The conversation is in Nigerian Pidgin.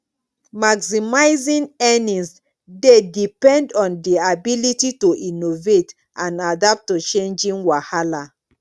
maximizing earnings dey depend on di ability to innovate and adapt to changing wahala